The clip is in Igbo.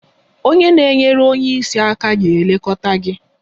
Onye na-enyere onye isi aka ga-elekọta gị